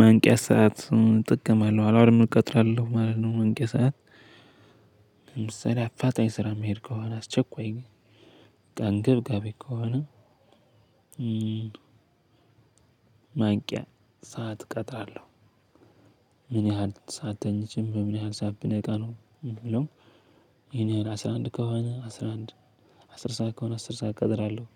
መንቂያ ሰዓት እጠቀማለሁ። አላርም ቀጥራለው ማለት ነው መንቂያ ሰዓት። አፋጣኝ ስራ የምሄድ ከሆነ አስቸኳይ፣ በቃ አንገብጋቢ ከሆነ ማንቂያ ሰዓት ቀጥራለሁ። ምን ያህል ሰዓት ተኝቼ በምን ያህል ሰዓት ብነቃ ነው በሚለው፣ የኔ አስራ አንድ ከሆነ አስራ አንድ አስር ሰዓት ከሆነ አስር ሰዓት ቀጥራለሁ።